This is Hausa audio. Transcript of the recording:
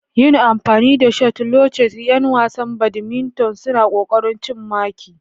Yin amfani da shuttlecock, 'yan wasan badminton suna ƙoƙarin cin maki.